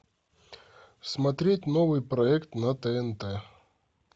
смотреть новый проект на тнт